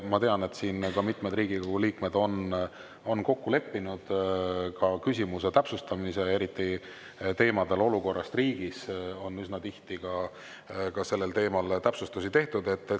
Ma tean, et siin on mitmed Riigikogu liikmed kokku leppinud küsimuse täpsustamise, eriti teema puhul "Olukord riigis" on üsna tihti ka täpsustusi tehtud.